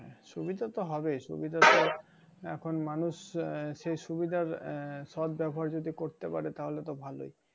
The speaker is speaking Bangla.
সুবিধা তো হবেই সুবিধা তো এখন মানুষ আহ সেই সুবিধার আহ সৎ ব্যবহার যদি করতে পারে তাহলে তো ভালোই।